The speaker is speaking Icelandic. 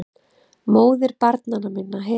MÓÐIR BARNANNA MINNA HEFUR